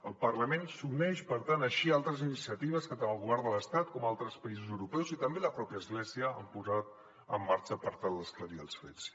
el parlament s’uneix per tant així a altres iniciatives que tant el govern de l’estat com altres països europeus i també la pròpia església han posat en marxa per tal d’esclarir els fets